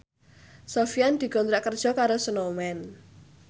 Sofyan dikontrak kerja karo Snowman